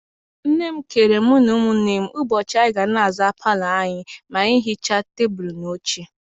Nne m keere mụ na ụmụnne ụbọchị anyị ga na-aza palọ anyị ma hichaa tebulu na oche.